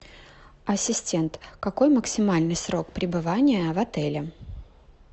ассистент какой максимальный срок пребывания в отеле